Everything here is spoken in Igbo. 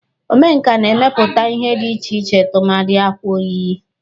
Omenka na-emepụta ihe dị iche iche tụmadị akwa oyiye